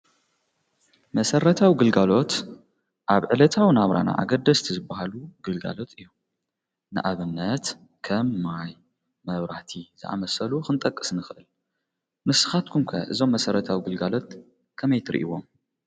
መሰረታዊ ግልጋሎት ኣብ ዕለታዊ ናብራና ኣገደስቲ ዝብሃሉ ግልጋሎት እዮም፡፡ ንኣብነት ከም ማይ፣ መብራቲ ዝኣመሰሉ ኽንጠቅስ ንኽእል፡፡ ንስኻትኩም ከ እዞም መሠረታው ግልጋሎት ከመይ ትርእይዎም?